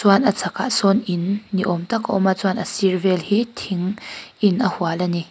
chuan a chhakah sawn in niawm tak a awm a chuan a sir vel hi thing in a hual vel ani.